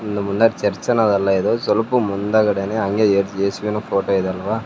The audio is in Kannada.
ಇಲ್ ನಮ್ ಮುಂದಕ್ ಚರ್ಚ್ ಅನ್ನೋದಲ್ಲ ಇದು ಸ್ವಲ್ಪ ಮುಂದಗಡನೆ ಅಂಗೆ ಎ ಏಸುವಿನ ಫೋಟೋ ಇದೆ ಅಲ್ವ.